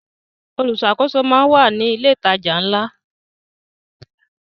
Olùṣàkóso máa ń wà ní ilé ìtajà ńlá.